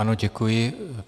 Ano, děkuji.